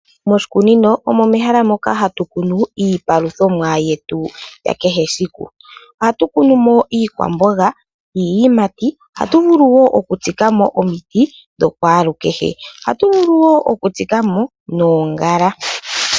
Moshikunino omo mehala moka hatu kunu iipaluthomwa yetu yakehe siku .Ohatu kunumo iikwamboga niiyimati. Ohatuvulu wo oku tsikamo oomiti dho kwalu kehe. Ohatuvulu wo oku tsikamo noongala.